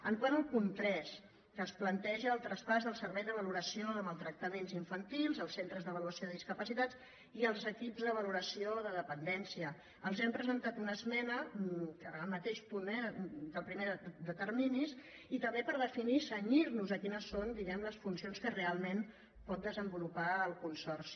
quant al punt tres que es planteja el traspàs del servei de valoració de maltractaments infantils els centres d’avaluació de discapacitats i els equips de valoració de dependència els hem presentat una esmena al mateix punt eh el primer de terminis i també per definir i cenyir·nos a quines són diguem·ne les funci·ons que realment pot desenvolupar el consorci